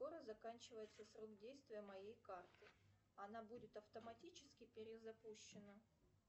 скоро заканчивается срок действия моей карты она будет автоматически перезапущена